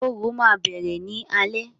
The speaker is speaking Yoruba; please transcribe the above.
Orò ma bẹrẹ ni alẹ.